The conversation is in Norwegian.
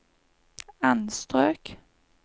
anstrøk